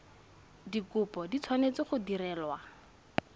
dikopo di tshwanetse go direlwa